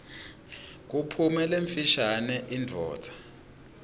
kuphume lemfishane indvodza